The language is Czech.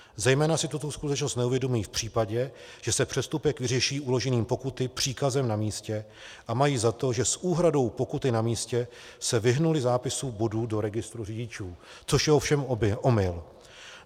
Zejména si tuto skutečnost neuvědomují v případě, že se přestupek vyřeší uložením pokuty příkazem na místě, a mají za to, že s úhradou pokuty na místě se vyhnuli zápisu bodů do registrů řidičů, což je ovšem omyl.